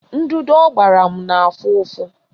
Ndụdụ ọ gbara m na-afụ ụfụ